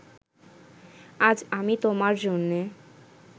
আজ আমি তোমার জন্যে